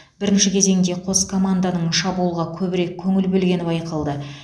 бірінші кезеңде қос команданың шабуылға көбірек көңіл бөлгені байқалды